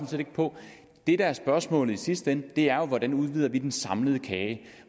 set ikke på det der er spørgsmålet i sidste ende er jo hvordan vi udvider den samlede kage